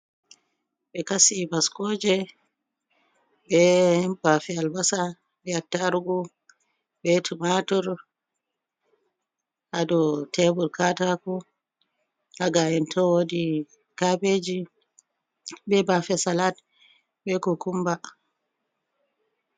be kasi vascoje be bafe albasa be attargu be tumatur, hadou tebur kataku, haga’ento wodi kabeji be bafe salat be kukumba